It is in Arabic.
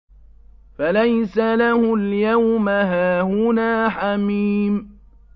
فَلَيْسَ لَهُ الْيَوْمَ هَاهُنَا حَمِيمٌ